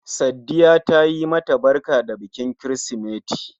Saddiya tayi ma ta barka da bikin kirsimeti